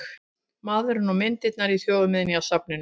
Maðurinn og myndirnar í Þjóðminjasafni